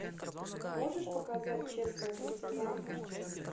можешь показать честная куртизанка